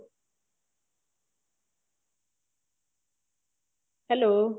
hello